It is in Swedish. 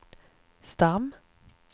stam